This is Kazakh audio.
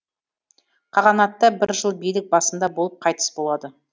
қағанатта бір жыл билік басында болып қайтыс болады